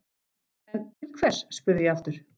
En, til hvers, spurði ég aftur.